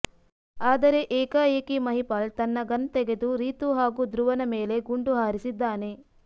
ಆದರೆ ಏಕಾಏಕಿ ಮಹಿಪಾಲ್ ತನ್ನ ಗನ್ ತೆಗೆದು ರೀತು ಹಾಗೂ ಧ್ರುವನ ಮೇಲೆ ಗುಂಡು ಹಾರಿಸಿದ್ದಾನೆ